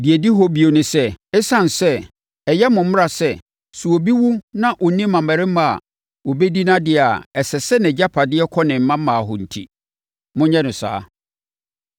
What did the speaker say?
“Deɛ ɛdi hɔ bio ne sɛ, ɛsiane sɛ ɛyɛ mo mmara sɛ, sɛ obi wu na ɔnni mmammarima a wɔbɛdi nʼadeɛ a ɛsɛ sɛ nʼagyapadeɛ kɔ ne mmammaa hɔ enti, monyɛ no saa.